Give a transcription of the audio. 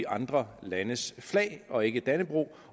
andre landes flag og ikke dannebrog